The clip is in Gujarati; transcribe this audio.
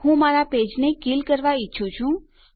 હું મારા પેજને કિલ કરવા ઈચ્છું છું